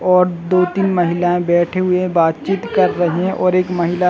और दो तीन महिलाये बैठे हुए है बातचित कर रहे है और एक महिला--